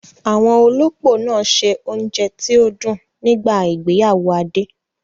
Àwọn olópò náà ṣe oúnjẹ tí ó dùn nígbà ìgbéyàwó Adé